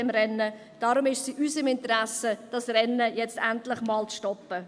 Darum ist es in unserem Interesse, dieses Rennen jetzt endlich zu stoppen.